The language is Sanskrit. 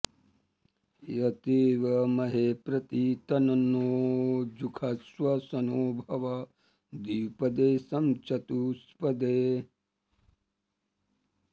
यत्वेमहे प्रति तन्नो जुषस्व शन्नो भव द्विपदे शं चतुष्पदे